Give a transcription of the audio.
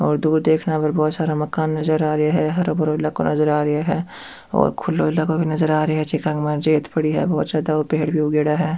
और दूर देखने पर बहोत सारा मकान नजर आ रिया है हराे भराे इलाकों नजर आ रियो है और खुलो इलाकों भी नजर आ रियो है जका के माय रेत पड़ी है बहुत ज्यादा और पेड़ भी उग्योड़ा है।